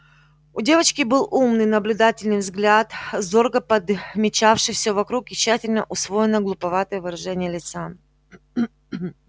у девочки был умный наблюдательный взгляд зорко подмечавший все вокруг и тщательно усвоенное глуповатое выражение лица